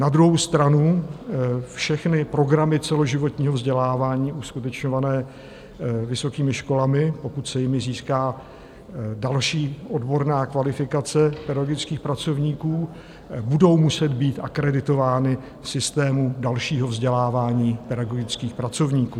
Na druhou stranu všechny programy celoživotního vzdělávání uskutečňované vysokými školami, pokud se jimi získá další odborná kvalifikace pedagogických pracovníků, budou muset být akreditovány v systému dalšího vzdělávání pedagogických pracovníků.